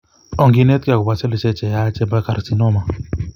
Onginetkei agobo sellishek cheyech chebo carcinoma